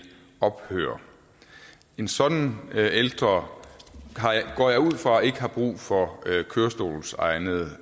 ophøre en sådan ældre går jeg ud fra ikke har brug for kørestolsegnede